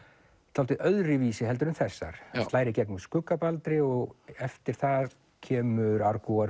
dálítið öðruvísi heldur en þessar slær í gegn með skugga Baldri og eftir það kemur